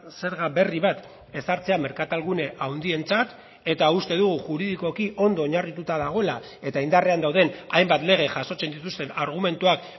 zerga berri bat ezartzea merkatalgune handientzat eta uste dugu juridikoki ondo oinarrituta dagoela eta indarrean dauden hainbat lege jasotzen dituzten argumentuak